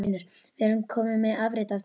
Við erum komnir með afrit af trygg